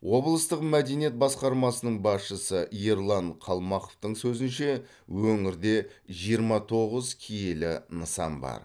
облыстық мәдениет басқармасының басшысы ерлан қалмақовтың сөзінше өңірде жиырма тоғыз киелі нысан бар